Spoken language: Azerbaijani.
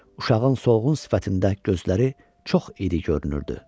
Uşağın solğun sifətində gözləri çox iri görünürdü.